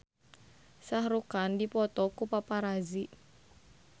Shah Rukh Khan dipoto ku paparazi